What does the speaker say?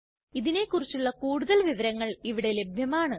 ഇതിനെ കുറിച്ചുള്ള കൂടുതൽ വിവരങ്ങൾ ഇവിടെ ലഭ്യമാണ്